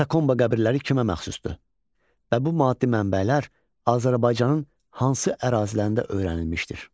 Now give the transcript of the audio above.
Katakomba qəbirləri kimə məxsusdur və bu maddi mənbələr Azərbaycanın hansı ərazilərində öyrənilmişdir?